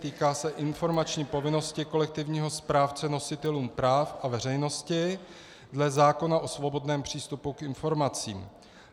Týká se informační povinnosti kolektivního správce nositelům práv a veřejnosti dle zákona o svobodném přístupu k informacím.